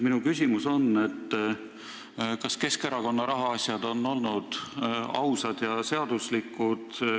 Minu küsimus on, kas Keskerakonna rahaasjad on olnud ausad ja seaduslikud.